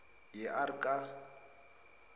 ye r ka